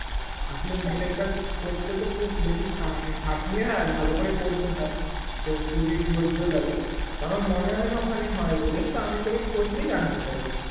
আসলে মুখের কাজ করতে তো খুব বেশি মানে খাটুনি হয়ে আর ভালো করে করতে হয় তো খুবই ধৈয লাগে তো আমার মনে হয়না ওখানে হয় বলে তা আমি তোকে খোঁজ নিয়ে জানাতে পারি